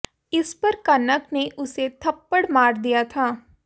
इस पर कनक ने उसे थप्पड़ मार दिया था